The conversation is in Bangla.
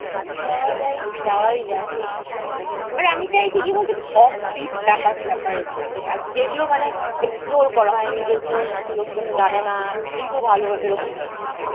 হুম, যাওয়া যায়, যাওয়াই যায়। আরে আমি চাইছি কি বলত? একটু । offbeat ব্যাপার স্যাপারে যেতে। যেগুলো মানে explore করা হয়নি। যেগুলো লোকজনে জানেনা, কিন্তু ভালো এইরকম type এর।